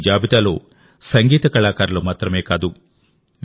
ఈ జాబితాలో సంగీత కళాకారులు మాత్రమే కాదు వి